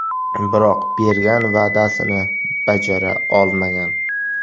Biroq bergan va’dasini bajara olmagan.